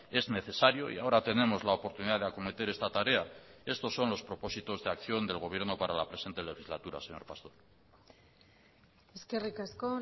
es necesario y ahora tenemos la oportunidad de acometer esta tarea estos son los propósitos de acción del gobierno para la presente legislatura señor pastor eskerrik asko